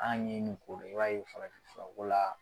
An ye nin kolo e b'a ye farafin furako la